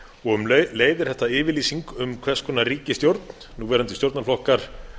og um leið er þetta yfirlýsing um hvers konar ríkisstjórn núverandi stjórnarflokkar